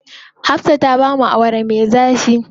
Hafsa ta bamu Awara me zafi.